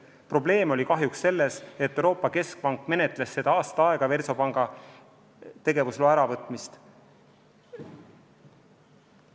Probleem oli kahjuks selles, et Euroopa Keskpank menetles Versobanki tegevusloa äravõtmist aasta aega.